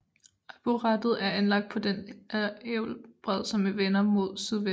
Arboretet er anlagt på den älvbred som vender mod sydvest